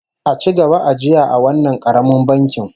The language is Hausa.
A ci gaba ajiya a wannan karamin bankin